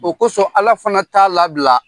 O kosɔn ala fana t'a labila.